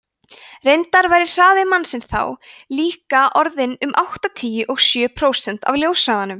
reyndar væri hraði mannsins þá líka orðinn um áttatíu og sjö prósent af ljóshraðanum